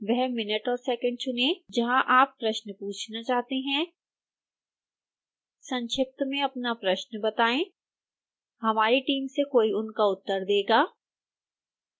वह मिनट और सेकेंड चुनें जहां आप प्रश्न पूछना चाहते हैं संक्षिप्त में अपना प्रश्न बताएं हमारी टीम से कोई उनका उत्तर देगा